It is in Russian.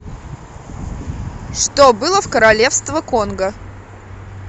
что было в королевство конго